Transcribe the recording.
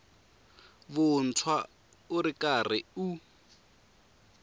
vuntshwa u ri karhi u